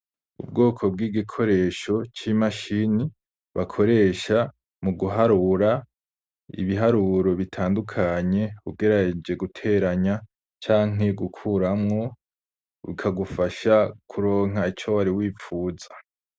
Ubwoko bw'igikoresho ci mashini bakoresha mu guharura ibiharuro bitandukanye ugerageje guteranya canke gukuramo bikagufasha kuronka ico wari wipfuza.